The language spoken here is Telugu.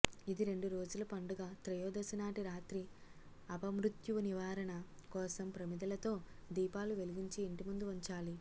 ఇది రెండురోజుల పండుగ త్రయోదసినాటి రాత్రి అపమృత్యు నివారణ కోసం ప్రమిదలతో దీపాలు వెలిగించి ఇంటిముందు వుంచాలి